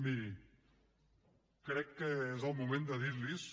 miri crec que és el moment de dir los